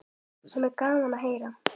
Sem er gaman að heyra.